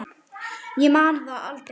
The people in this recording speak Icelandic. Ég man aldrei neitt.